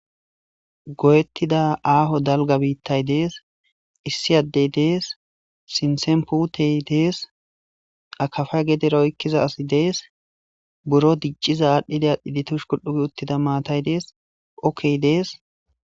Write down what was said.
go7ettida aaho dalga biittay dees issi addey dees sintsen puutey dees akafa gedera oykkiza asi dees buro dicciza aadhdhide adhi ditush kul7ugi uttida maatay dees okkey dees